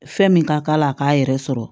Fɛn min ka k'a la a k'a yɛrɛ sɔrɔ